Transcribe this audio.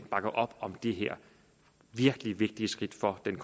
bakke op om det her virkelig vigtige skridt for den